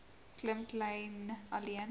klim kleyn alleen